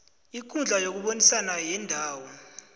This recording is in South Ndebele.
ikundla yokubonisana yendawo